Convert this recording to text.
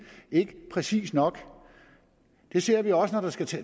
ikke præcis nok det ser vi også